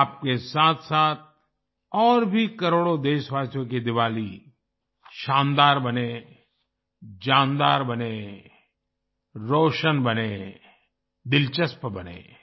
आपके साथसाथ और भी करोड़ों देशवासियों की दीवाली शानदार बने जानदार बने रौशन बने दिलचस्प बने